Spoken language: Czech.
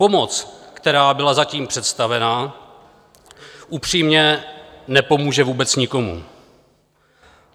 Pomoc, která byla zatím představena, upřímně nepomůže vůbec nikomu.